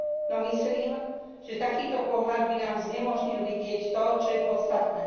No myslím, že takýto pohľad by nám znemožnil vidieť to, čo je podstatné.